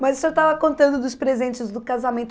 Mas o senhor estava contando dos presentes do casamento.